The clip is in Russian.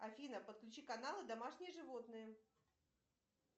афина подключи каналы домашние животные